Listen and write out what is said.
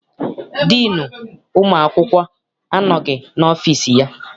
Diinu ụmụ akwụkwọ anọghị n'ọfịịsi ya.